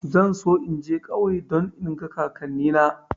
Zan so in je ƙauye don in ga kakanni na